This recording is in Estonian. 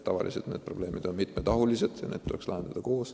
Tavaliselt on noorte probleemid ju mitmetahulised.